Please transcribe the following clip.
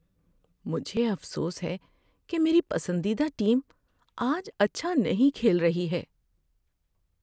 مجھے افسوس ہے کہ میری پسندیدہ ٹیم آج اچھا نہیں کھیل رہی ہے۔